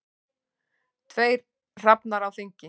Tveir hrafnar á þingi.